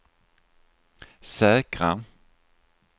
säkra